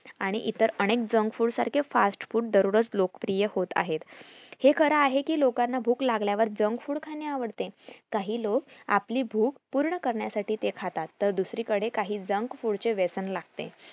आणि इतर अनेक junk food सारखे fast food दररोज लोकप्रिय होत आहेत हे खरं आहे की लोकांना भूक लागल्यावर junk food खाणे आवडते काही लोक आपली भूक पूर्ण करण्यासाठी ते खाता तर दुसरी कडे काही junk food चे व्यसन लागते